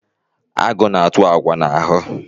Agụ na-atụ agwa n'ahụ.